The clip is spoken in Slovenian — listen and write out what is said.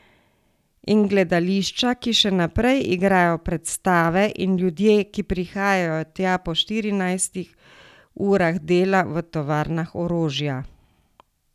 In gledališča, ki še naprej igrajo predstave, in ljudje, ki prihajajo tja po štirinajstih urah dela v tovarnah orožja ...